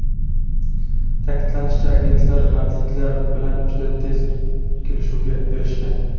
Ta’kidlanishicha, agentlar madridliklar bilan juda tez kelishuvga erishgan.